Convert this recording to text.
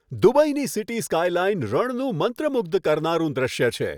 દુબઈની city skyline રણનું મંત્રમુગ્ધ કરનારું દ્રશ્ય છે.